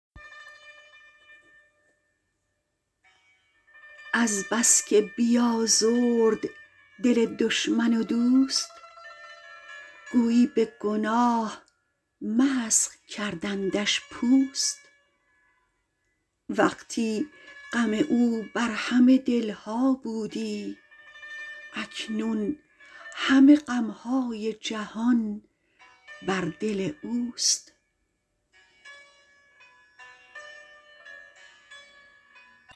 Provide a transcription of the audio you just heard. از بس که بیازرد دل دشمن و دوست گویی به گناه مسخ کردندش پوست وقتی غم او بر همه دلها بودی اکنون همه غمهای جهان بر دل اوست